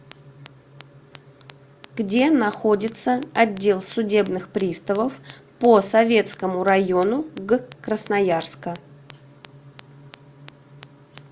где находится отдел судебных приставов по советскому району г красноярска